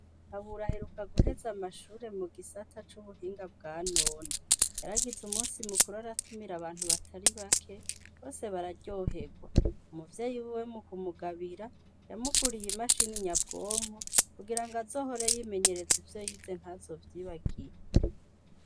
Kabura aheruka guheza amashuri mu gisata c'ubuhinga bwanone yaragize umunsi mukuru aratumira abantu batari bake bose bararyoherwa umuvyeyi wiwe mu kumugabira yamuguriye imashini nyabwonko kugirango azohore yimenyereza ivyo yize ntazovyibagire.